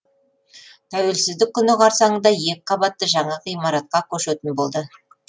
тәуелсіздік күні қарсаңында екі қабатты жаңа ғимаратқа көшетін болды